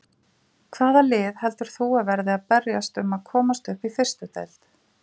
Hvaða lið heldur þú að verði að berjast um að komast upp í fyrstu deild?